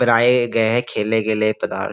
गए है खेलने के लिए पदार्थ।